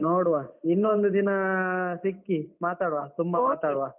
ನೋಡುವ ಇನ್ನೊಂದು ದಿನಾ ಅಹ್ ಸಿಕ್ಕಿ ಮಾತಾಡ್ವ ತುಂಬಾ ಮಾತಾಡ್ವ.